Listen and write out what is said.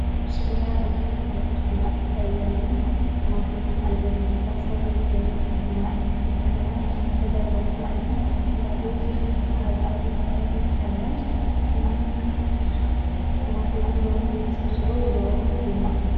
ምስሉ ላይ በርከት ያሉ ሰዎች ይታያሉ። ግማሾቹ ገደል እየቆፈሩ ይገኛሉ ፤ ግማሾቹ ቆመዋል ፤ ከጀርባቸው ደግሞ አረንጓዴ ቅጠል ይታያል ፤ ግማሾቹ ደሞ ተሰብስበው እያወሩ ይገኛሉ።